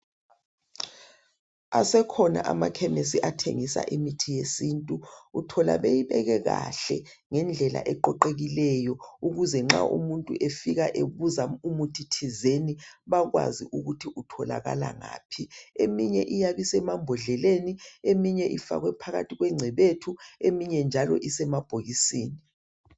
asekhna amakhemisi athengisa imithi yesintu uthola beyibeke kahle ngendlela eqoqekileyo ukuze nxa umuntu efika ebuza umuthithizeni bayakwazi ukuthi itholakala ngaphi eyinye iyabe isemabhodleleni eyinye ifakwe phakathi kwencebethu eyinye njalo isemabhokisini